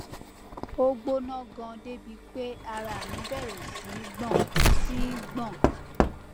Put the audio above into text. ó gbóná ganan débi pé ara mi bẹrẹ sí í gbọn sí í gbọn